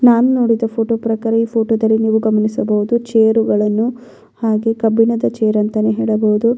ನಾನು ನೋಡಿದ ಫೋಟೋ ಪ್ರಕಾರ ಈ ಫೋಟೋದಲ್ಲಿ ನೀವು ಗಮನಿಸಬಹುದು ಚೇರುಗಳನ್ನು ಹಾಗೆ ಕಬ್ಬಿಣದ ಚೇರ್ ಅಂತಾನೆ ಹೇಳಬಹುದು.